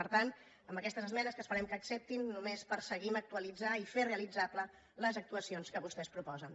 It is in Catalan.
per tant amb aquestes esmenes que esperem que acceptin només perseguim actualitzar i fer realitzable les actuacions que vostès proposen